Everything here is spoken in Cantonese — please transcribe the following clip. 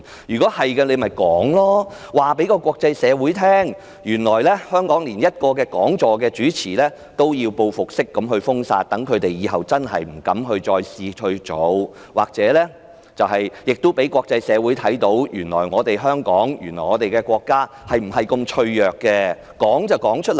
是的話，但說無妨，告訴國際社會，原來在香港主持一個講座也要遭報復式封殺，讓其他人以後不敢效法，亦可以讓國際社會看見，原來香港和國家如此脆弱，不妨老實說出來。